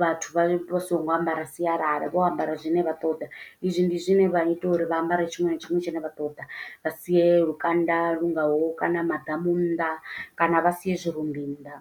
vhathu vha vha songo ambara sialala, vho ambara zwine vha ṱoḓa. I zwi ndi zwine vha ita uri vha ambare tshiṅwe na tshiṅwe, tshine vha ṱoḓa vha sie lukanda lu ngaho kana maḓamu nnḓa, kana vha siye zwi rumbi nnḓa.